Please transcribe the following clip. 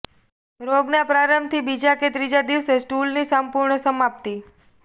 રોગના પ્રારંભથી બીજા કે ત્રીજા દિવસે સ્ટૂલની સંપૂર્ણ સમાપ્તિ